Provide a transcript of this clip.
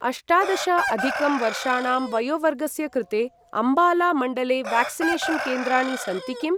अष्टादश अधिकं वर्षाणां वयोवर्गस्य कृते अम्बाला मण्डले व्याक्सिनेषन् केन्द्राणि सन्ति किम्?